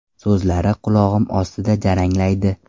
so‘zlari qulog‘im ostida jaranglaydi.